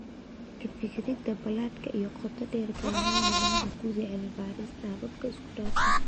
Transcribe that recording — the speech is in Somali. Ka fikirida ballaadhka iyo qoto dheer, gaar ahaan macnaha guud ee cilmi-baarista hababka isku dhafan.